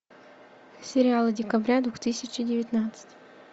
сериалы декабря две тысячи девятнадцать